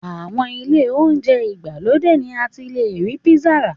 Àwọn ilé oúnjẹ ìgbàlódé ni a ti le rí písà rà.